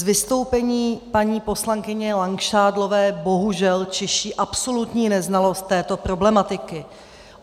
Z vystoupení paní poslankyně Langšádlové bohužel čiší absolutní neznalost této problematiky.